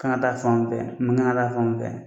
Kan ka taa fan mun fɛ, nin kan ka taa fan mun fɛ